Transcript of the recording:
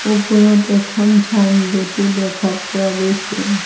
ওপৰত এখন ছাইনবোৰ্ড ও দেখা পোৱা গৈছে।